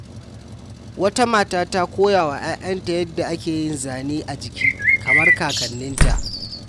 Wata mata ta koya wa ‘ya’yanta yadda ake yin zane a jiki kamar kakanninta.